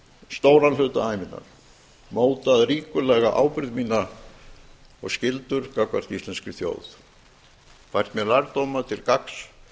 stóran hluta ævinnar mótað ríkulega ábyrgð mína og skyldur gagnvart íslenskri þjóð fært mér lærdóma til gagns